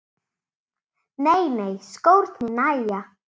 Nei nei, skórnir nægja.